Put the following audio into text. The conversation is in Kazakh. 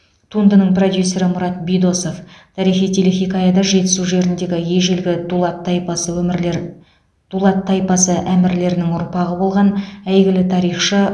туындының продюсері мұрат бидосов тарихи телехикаяда жетісу жеріндегі ежелгі дулат тайпасы өмірлер дулат тайпасы әмірлерінің ұрпағы болған әйгілі тарихшы